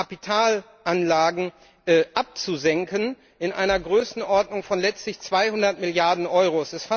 Kapitalanlagen abzusenken, in einer Größenordnung von letztlich 200Milliarden Euro.